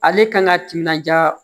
Ale kan ka timinandiya